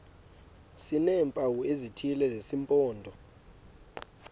sineempawu ezithile zesimpondo